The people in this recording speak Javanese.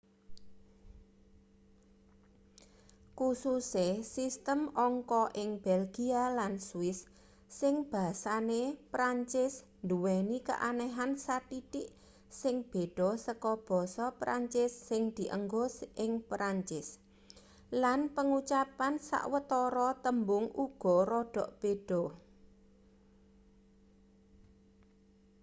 kususe sistem angka ing belgia lan swiss sing basane prancis duweni keanehan sathithik sing beda saka basa prancis sing dienggo ing prancis lan pangucapan sawetara tembung uga rada beda